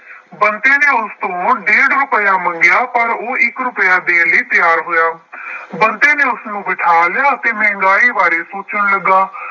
ਬੰਤੇ ਨੇ ਉਸ ਤੋਂ ਡੇਢ ਰੁਪਇਆ ਮੰਗਿਆ ਪਰ ਉਹ ਇੱਕ ਰੁਪਇਆ ਦੇਣ ਲਈ ਤਿਆਰ ਹੋਇਆ। ਬੰਤੇ ਨੇ ਉਸਨੂੰ ਬਿਠਾ ਲਿਆ ਅਤੇ ਮਹਿੰਗਾਈ ਬਾਰੇ ਸੋਚਣ ਲੱਗਾ।